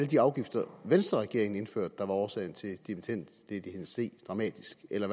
de afgifter venstreregeringen indførte der var årsagen til dimittendledigheden steg dramatisk eller